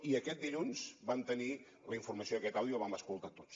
i aquest dilluns vam tenir la informació d’aquest àudio i el vam escoltar tots